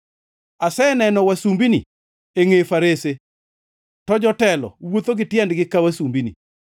Aseneno wasumbini e ngʼe farese, to jotelo wuotho gi tiendgi ka wasumbini.